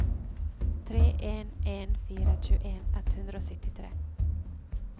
tre en en fire tjueen ett hundre og syttitre